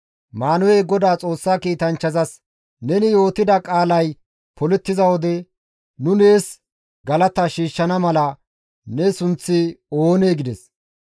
Maanuhey Godaa Xoossa kiitanchchazas, «Neni yootida qaalay polettiza wode, nu nees galata shiishshana mala ne sunththi oonee?» gides.